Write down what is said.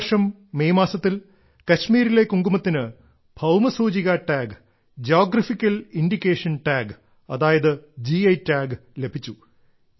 ഈ വർഷം മെയ് മാസത്തിൽ കശ്മീരിലെ കുങ്കുമത്തിന് ഭൌമസൂചികാ ടാഗ് ജിയോഗ്രാഫിക്കൽ ഇൻഡിക്കേഷൻ ടാഗ് അതായത് ഗി ടാഗ് ലഭിച്ചു